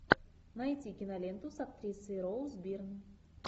найти киноленту с актрисой роуз бирн